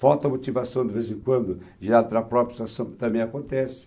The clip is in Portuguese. Falta motivação de vez em quando, já para a própria situação também acontece.